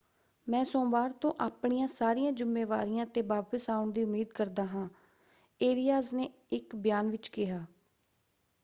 ਮੈਂ ਸੋਮਵਾਰ ਤੋਂ ਆਪਣੀਆਂ ਸਾਰੀਆਂ ਜ਼ਿੰਮੇਵਾਰੀਆਂ 'ਤੇ ਵਾਪਸ ਆਉਣ ਦੀ ਉਮੀਦ ਕਰਦਾ ਹਾਂ, ਏਰਿਆਸ ਨੇ ਇੱਕ ਬਿਆਨ ਵਿੱਚ ਕਿਹਾ।